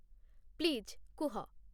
please କୁହ